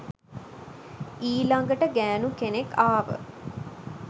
ඊලඟට ගෑනු කෙනෙක් ආව